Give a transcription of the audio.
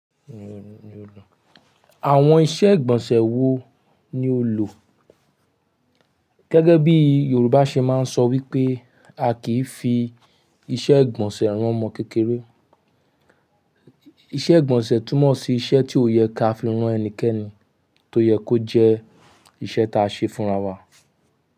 Àwọn ìṣe ìgbọ̀nsẹ̀ wo ni o lò? Gẹ́gẹ́ bí Yorùbá ṣe máa ń sọ wípé a kì í fi ìṣe ìgbọ̀nsẹ̀ rán ọmọ kékeré. Ìṣe ìgbọ̀nsẹ̀ túmọ̀ sí ìṣe tí ó yẹ ká fi rán ẹnikẹ́ni tó yẹ kó jẹ́ ìṣe ta ṣe fún ra wa.